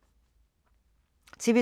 TV 2